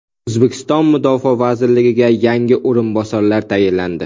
O‘zbekiston mudofaa vaziriga yangi o‘rinbosarlar tayinlandi.